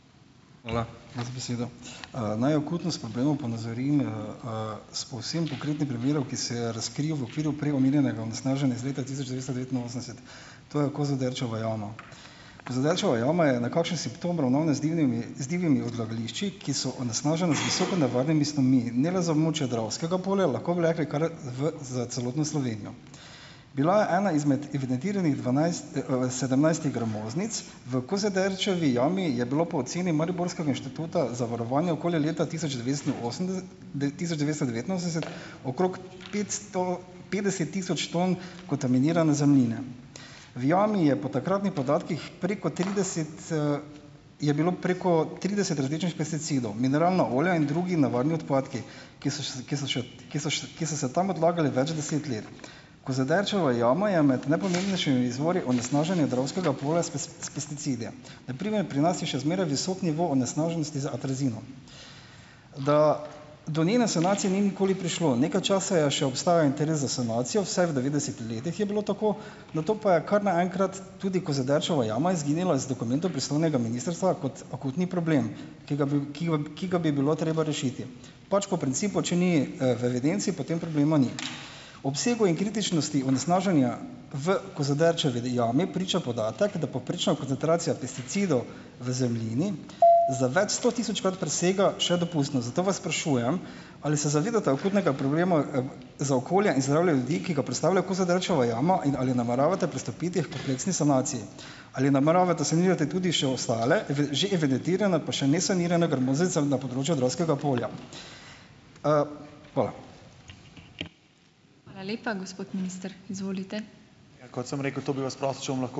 Hvala za besedo. naj akutnost problemov ponazorim, s povsem konkretnim primerom , ki se je razkril v okviru prej omenjenega onesnaženja iz leta tisoč devetsto devetinosemdeset. To je Kozoderčeva jama. Kozoderčeva jama je nekakšen simptom ravnanja z z divjimi odlagališči, ki so onesnažena z visoko nevarnimi snovmi. In ne le za območje Dravskega polja, lahko bi rekli kar v s celotno Slovenijo. Bila je ena izmed evidentiranih dvanajst, sedemnajstih gramoznic, v Kozoderčevi jami je bilo po oceni mariborskega Inštituta za varovanje okolja leta tisoč devetsto tisoč devetsto devetinosemdeset okrog petsto petdeset tisoč ton kontaminirane zemljine. V jami je po takratnih podatkih preko trideset, je bilo preko trideset različnih pesticidov. Mineralna olja in drugi nevarni odpadki, ki so ki so ki so ki so se tam odlagali več deset let. Kozoderčeva jama je med najpomembnejšimi izvori onesnaženja Dravskega polja s s pesticidi. Na primer, pri nas je še zmeraj visok nivo onesnaženosti z atrazinom. Da do njene sanacije ni nikoli prišlo. Nekaj časa je še obstajal interes za sanacijo, vsaj v devetdesetih letih je bilo tako, nato pa je kar naenkrat tudi Kozoderčeva jama izginila z dokumentov pristojnega ministrstva kot akutni problem, ki ga ki ga bi bilo treba rešiti. Pač po principu, če ni, v evidenci, potem problema ni. Obsegu in kritičnosti onesnaženja v Kozoderčevi jami priča podatek, da povprečna koncentracija pesticidov v zemljini za več stotisočkrat presega še dopustno. Zato vas sprašujem, ali se zavedate akutnega problema, za okolje in zdravje ljudi, ki ga predstavlja Kozoderčeva jama in ali nameravate pristopiti h kompleksni sanaciji? Ali nameravate sanirati tudi še ostale že evidentirane pa še ne sanirane gramoznice na področju Dravskega polja? Hvala. Hvala lepa, gospod minister, izvolite.